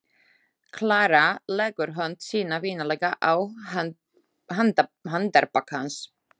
Klara leggur hönd sína vinalega á handarbak hans.